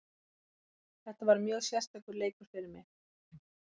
Þetta var mjög sérstakur leikur fyrir mig.